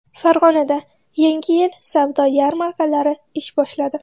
Farg‘onada Yangi yil savdo yarmarkalari ish boshladi.